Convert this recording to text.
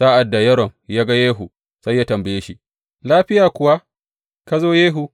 Sa’ad da Yoram ya ga Yehu sai ya tambaye shi, Lafiya kuwa ka zo, Yehu?